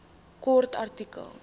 kort artikel